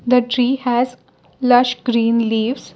the tree has lush green leaves.